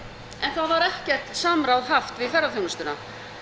var ekkert samráð haft við ferðaþjónustuna